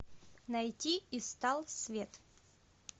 найти и стал свет